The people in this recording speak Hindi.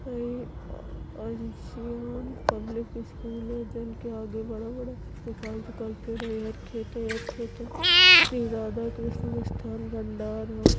ये ये आंशियाँ पब्लिक स्कूल है जिन के आगे बड़ा- बड़ा श्री राधा कृष्णा मिस्थान भंडार है।